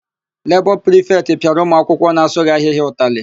Lebọ prịfetị pịara ụmụakwụkwọ na-asụghị ahịhịa ụtalị.